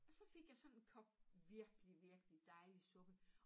Og så fik jeg sådan en kop virkelig virkelig dejlig suppe